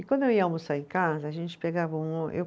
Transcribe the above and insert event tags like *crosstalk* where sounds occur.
E quando eu ia almoçar em casa, a gente pegava um *unintelligible* eu